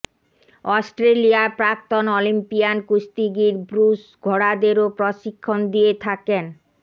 অস্ট্রেলিয়ার প্রাক্তন অলিম্পিয়ান কুস্তিগির ব্রুস ঘোড়াদেরও প্রশিক্ষণ দিয়ে থাকেন